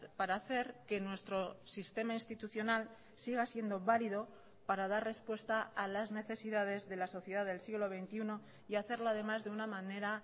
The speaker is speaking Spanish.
para hacer que nuestro sistema institucional siga siendo válido para dar respuesta a las necesidades de la sociedad del siglo veintiuno y hacerlo además de una manera